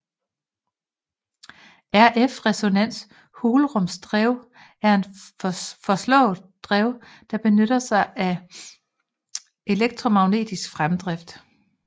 RF resonans hulrumsdrev er et foreslået drev der benytter sig af elektromagnetisk fremdrift